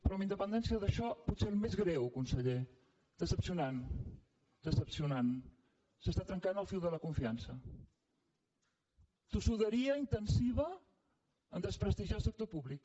però amb independència d’això potser el més greu conseller decebedor s’està trencant el fil de la confiança tossuderia intensiva a desprestigiar el sector públic